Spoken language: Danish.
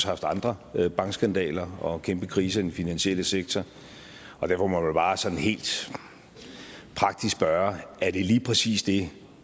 haft andre bankskandaler og kæmpe kriser i den finansielle sektor og derfor må man vel bare sådan helt praktisk spørge er det lige præcis det